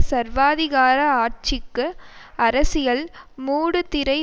சர்வாதிகார ஆட்சிக்கு அரசியல் மூடுதிரை